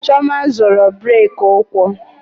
Chioma zọrọ brake ụkwụ